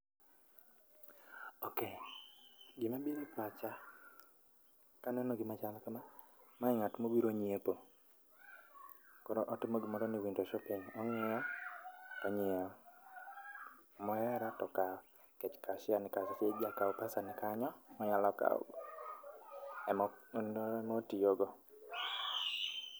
ok, gima biro e pacha kaneno gima chal kama, mae ngat mobiro nyiepo koro otimo gimoro ni window shopping. Ongiyo tonyiewo, mohero to okaw nikech cashier nikanyo jakaw pesa ne kanyo manyalo kaw, ema otiyo go.